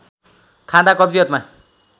खाँदा कब्जियतमा